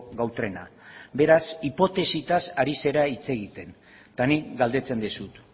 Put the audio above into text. gau trena beraz hipotesitaz ari zera hitz egiten eta nik galdetzen dizut